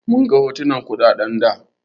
Mun ga hotunan kuɗaɗen da.